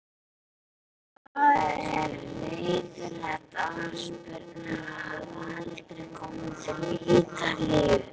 Það er leiðinlegt afspurnar að hafa aldrei komið til Ítalíu.